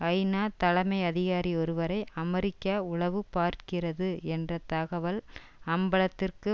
ஐநா தலைமை அதிகாரி ஒருவரை அமெரிக்கா உளவு பார்க்கிறது என்ற தகவல் அம்பலத்திற்கு